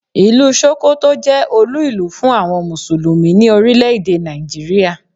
Ìlú Sókótó jẹ́ olú ìlú fún àwọn Mùsùlùmí ní Orílẹ̀ èdè Nàìjíríà.